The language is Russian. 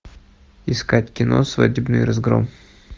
искать кино свадебный разгром